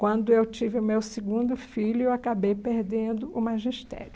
Quando eu tive o meu segundo filho, eu acabei perdendo o magistério.